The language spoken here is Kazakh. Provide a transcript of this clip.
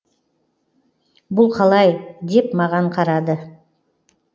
бұл қалай деп маған қарады